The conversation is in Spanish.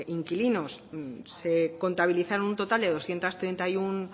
inquilinos se contabilizaron un total de doscientos treinta y uno